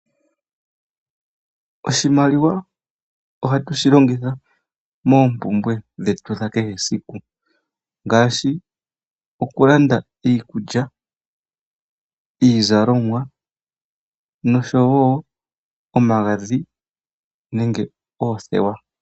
Oshimaliwa oha tushi longitha moompumbwe dhetu dha kehe esiku, ngaashi oku landa iikulya, iizalomwa nosho wo omagadhi nenge oothewa.